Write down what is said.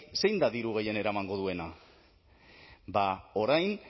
zein da diru gehien eramango duena bada orain